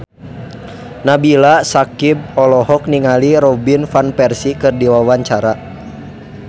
Nabila Syakieb olohok ningali Robin Van Persie keur diwawancara